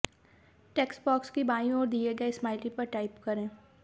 text box की बाईं ओर दिए गए स्माइली पर टाइप करें